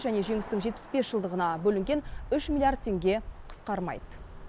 және жеңістің жетпіс бес жылдығына бөлінген үш миллиард теңге қысқармайды